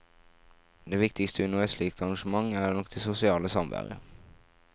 Det viktigste under et slikt arrangement er nok det sosiale samvær.